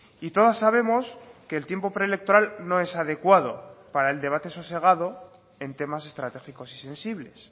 y todas sabemos que el tiempo preelectoral no es adecuado para el debate sosegado en temas estratégicos y sensibles